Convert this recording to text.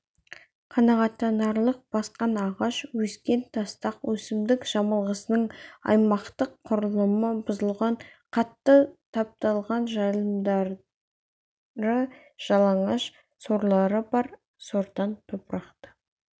қанағаттанарлық басқан ағаш өскен тастақ өсімдік жамылғысының аймақтық құрылымы бұзылған қатты тапталған жайылымдары жалаңаш сорлары бар сортаң топырақты